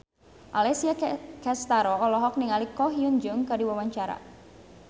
Alessia Cestaro olohok ningali Ko Hyun Jung keur diwawancara